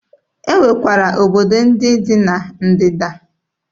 E nwekwara obodo ndị dị na Ndịda.